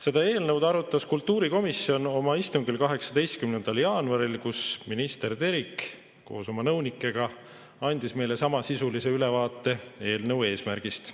Seda eelnõu arutas kultuurikomisjon oma istungil 18. jaanuaril, kui minister Terik koos oma nõunikega andis meile samasisulise ülevaate eelnõu eesmärgist.